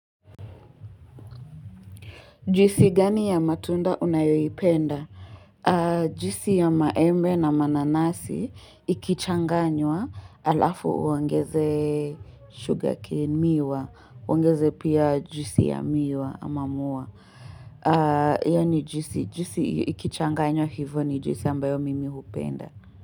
Juici gani ya matunda unayoipenda? Juici ya maembe na mananasi ikichanganywa alafu uongeze sugarcane miwa, uongeze pia juici ya miwa ama muwa. Yaani juici, ikichanganywa hivyo ni juici ambayo mimi hupenda.